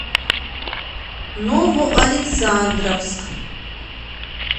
новоалександровск